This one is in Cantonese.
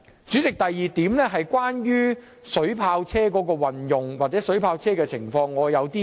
主席，第二點是關於水炮車的運用，我對此有些個人看法。